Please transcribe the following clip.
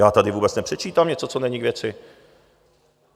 Já tady vůbec nepředčítám něco, co není k věci.